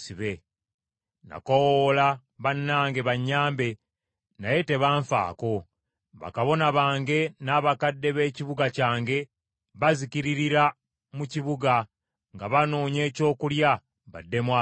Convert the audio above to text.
“Nakoowoola bannange bannyambe, naye tebanfaako; bakabona bange n’abakadde b’ekibuga kyange bazikiririra mu kibuga nga banoonya ekyokulya baddemu amaanyi.